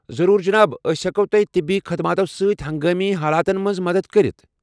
ضروُر جناب۔ أسۍ ہٮ۪کو تۄہہِ طبی خدماتو سۭتۍ ہنگٲمی حالاتن منٛز مدتھ کٔرِتھ ۔